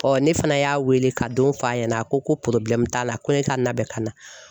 ne fana y'a wele ka don f'a ɲɛna a ko t'a la ko ne ka na bɛn ka na.